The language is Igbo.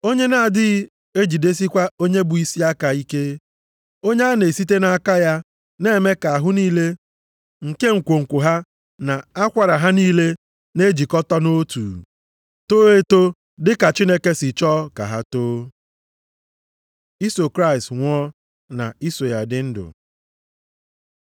Onye na-adịghị ejidesikwa onye bụ isi aka ike, onye a na-esite nʼaka ya na-eme ka ahụ niile, nke nkwonkwo ha na akwara ha niile na-ejikọta nʼotu, too eto dị ka Chineke si chọọ ka ha too. Iso Kraịst nwụọ na iso ya dị ndụ